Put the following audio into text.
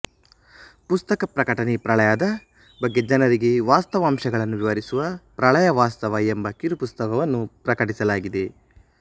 ಪುಸ್ತಕ ಪ್ರಕಟಣೆ ಪ್ರಳಯ ದ ಬಗ್ಗೆ ಜನರಿಗೆ ವಾಸ್ತವಾಂಶಗಳನ್ನು ವಿವರಿಸುವ ಪ್ರಳಯ ವಾಸ್ತವ ಎಂಬ ಕಿರು ಪುಸ್ತಕವನ್ನು ಪ್ರಕಟಿಸಲಾಗಿದೆ